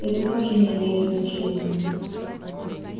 это тоже не имеет значения